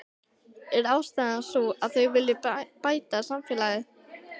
Er ástæðan sú að þau vilji bæta samfélagið?